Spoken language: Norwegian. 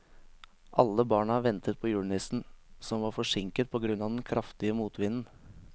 Alle barna ventet på julenissen, som var forsinket på grunn av den kraftige motvinden.